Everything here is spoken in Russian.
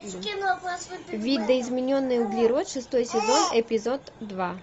видоизмененный углерод шестой сезон эпизод два